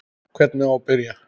Hvernig á að byrja?